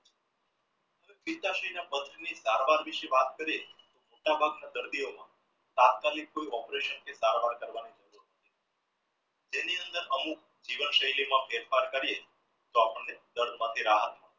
વાત કરીએ તો મોટા ભાગ ના દર્દીઓ તાત્કાલિક કોઈ operation કે સારવાર કરવાની તેની અંદર અમુક જીવનશૈલીમાં ફેરફાર કરી તો આપણે દર્દમાંથી રાહત મળે